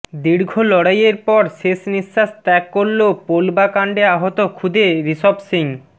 দীর্ঘ লড়াইয়ের পর শেষ নিঃশ্বাস ত্যাগ করল পোলবা কান্ডে আহত খুদে ঋষভ সিং